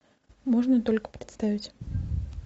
можно только представить